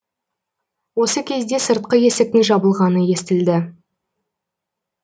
осы кезде сыртқы есіктің жабылғаны естілді